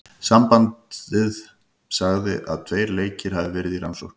Sambandið sagði að tveir leikir hafi verði í rannsókn.